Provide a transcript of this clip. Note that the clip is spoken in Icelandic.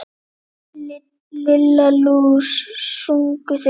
Lilla lús! sungu þeir báðir.